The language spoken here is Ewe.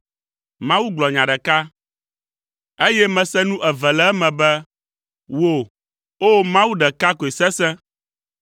Mawu gblɔ nya ɖeka, eye mese nu eve le eme be, “Wò, O Mawu, ɖeka koe sesẽ,